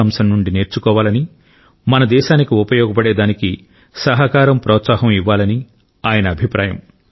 కొత్త అంశం నుండి నేర్చుకోవాలని మన దేశానికి ఉపయోగపడేదానికి సహకారం ప్రోత్సాహం ఇవ్వాలని ఆయన అభిప్రాయం